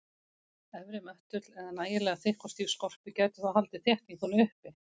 Efri möttull eða nægilega þykk og stíf skorpu gæti þó haldið þéttingunni uppi.